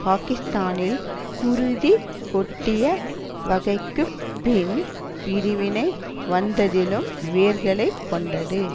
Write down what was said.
பாக்கிஸ்தானில் குருதி கொட்டிய வகைக்குப் பின் பிரிவினை வந்ததிலும் வேர்களை கொண்டது